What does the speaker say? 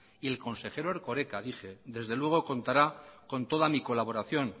y el consejero erkoreka dije desde luego contará con toda mi colaboración